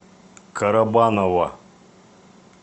карабаново